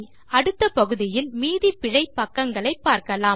அடுத்த பகுதிகளில் மீதி பிழை பக்கங்களை பார்க்கலாம்